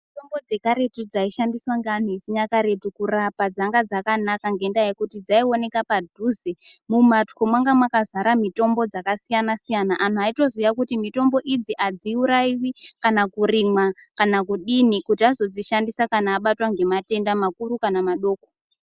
Mitombo dzekaretu dzaishandiswa neantu echinyakaretu kurapa dzanga dzakanaka ngendaa yekuti dzaioneke padhuze mumatwo manga makazara mitombo dzakasiyana siyana antu aiyitoziya kuti mitombo idzi hadziurayiwi kana kurimwa kana kudini kuti adzodzishandisa kana achinge abatwa nematenda makuru kana madoko.